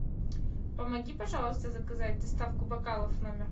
помоги пожалуйста заказать доставку бокалов в номер